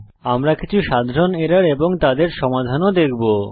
আমরা কিছু সাধারণ এরর এবং তাদের সমাধান ও দেখবো